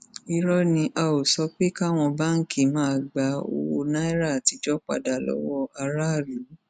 irọ ni o á ó sọ pé káwọn báńkì máa gba owó náírà àtijọ padà lọwọ aráàlú